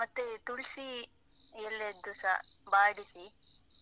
ಮತ್ತೇ ತುಳ್ಸಿ ಎಲೆಯದ್ದುಸ, ಬಾಡಿಸಿ,